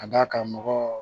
Ka d'a kan mɔgɔ